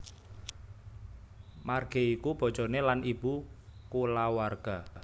Marge iku bojoné lan ibu kulawarga